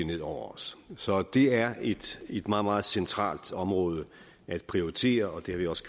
ned over os så det er et meget meget centralt område at prioritere og det har vi også